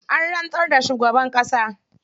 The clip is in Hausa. An rantsar da shugaban ƙasa.